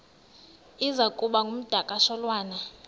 iza kuba ngumdakasholwana